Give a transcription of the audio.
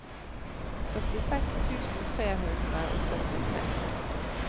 førtiseks tusen tre hundre og førtitre